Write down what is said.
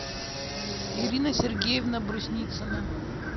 ирина сергеевна брусницына